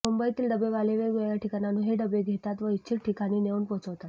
मुंबईतील डबेवाले वेगवेगळ्या ठिकाणांहून हे डबे घेतात व इच्छित ठिकाणी नेऊन पोहोचवतात